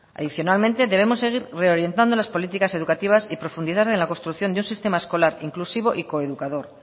adicionalmente debemos seguir reorientando las políticas educativas y profundizar en la construcción de un sistema escolar inclusivo y coeducador